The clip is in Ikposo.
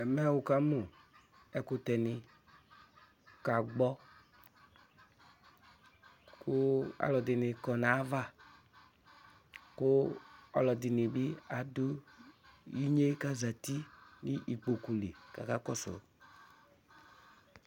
Ɛmɛ wukamu ɛkʋtɛ ni kʋ akagbɔ Kʋ alu ɛdɩnɩ kɔ nʋ ayava, kʋ ɔlɔdɩ nɩ bɩ adu inye kʋ azǝti nʋ ikpoku li, kʋ akakɔsʋ